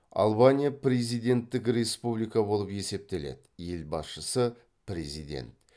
албания президенттік республика болып есептеледі елбасшысы президент